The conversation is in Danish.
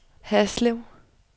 Haslev